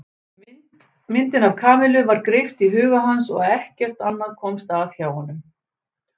Myndin af Kamillu var greipt í huga hans og ekkert annað komst að hjá honum.